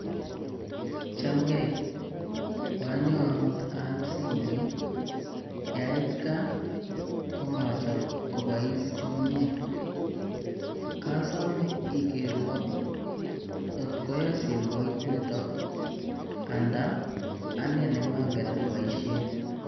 Chamgei, kwanyo amuut aal simoit yait gaa komacham kopois komnyee, kasomee ikeerwo kotko yaa simoit nito andaa anendet ne mongen apoishen.